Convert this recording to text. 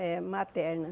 É, materna.